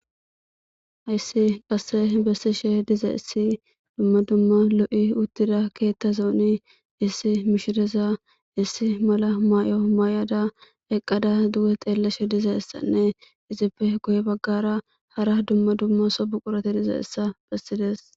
Heeyssi qassi bessishee dizayssi dumma dumma lo7i uththida keeththazooni issi mishireza issi mala may7uwa mayada eqqada duge xeellashe dizayssanne izeppe gye baggaara hara hara dumma dumma so buqurathi dizayssa bessides.